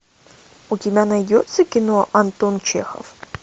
у тебя найдется кино антон чехов